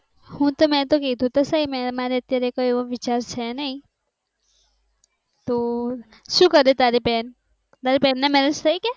આમ મે કીધું તો સહી મારે એવો કોઇ વિચાર છે નહિ તો શું કરે તારી બેન તારી બેન ના marriage થઇ ગયા